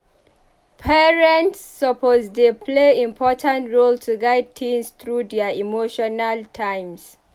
Parents suppose dey play important role to guide teens through dier emotional times.